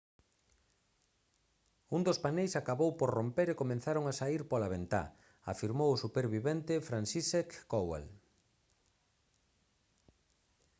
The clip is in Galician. un dos paneis acabou por romper e comezaron a saír pola ventá» afirmou o supervivente franciszek kowal